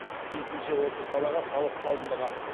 тиісінше осы салаға салық салынбаған